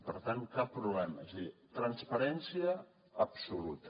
per tant cap problema és a dir transparència absoluta